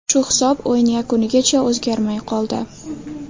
Shu hisob o‘yin yakunigacha o‘zgarmay qoldi.